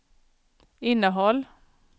innehåll